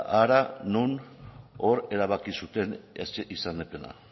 hara non hor erabaki zuten izendapena